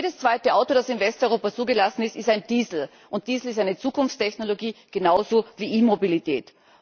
Jedes zweite Auto, das in Westeuropa zugelassen ist, ist ein Diesel. Diesel ist eine Zukunftstechnologie, genauso wie E Mobilität.